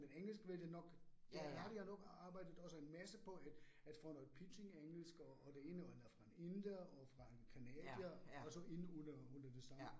Men engelsk vil det nok har jeg ret i, at nok arbejdet også en masse på at at få noget pitching engelsk og det ene og noget fra en inder og fra en canadier altså inde under under det samme